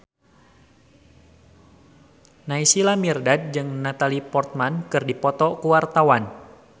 Naysila Mirdad jeung Natalie Portman keur dipoto ku wartawan